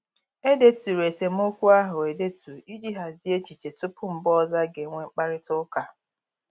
E deturu esemokwu ahụ edetu iji hazie echiche tupu mgbe ọzọ a ga-enwe mkparịta ụka